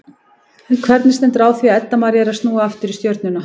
En hvernig stendur á því að Edda María er að snúa aftur í Stjörnuna?